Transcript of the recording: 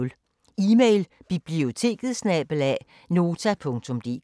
Email: biblioteket@nota.dk